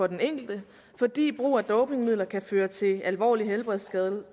den enkelte fordi brug af dopingmidler kan føre til alvorlige helbredsskader